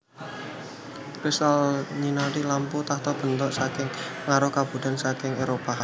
Crystal nyinari lampu tahta bentuk saking pengaruh kabudayan saking Éropah